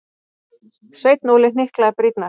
Sveinn Óli hnyklaði brýnnar.